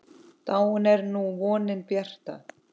Dáin er nú vonin bjarta.